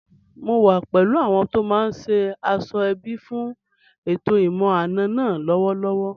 Mò wà pẹ̀lú àwọn tó máa ṣe aṣọ-ẹbí fún ètò ìmọ̀-àna náà lọ́wọ́lọ́wọ́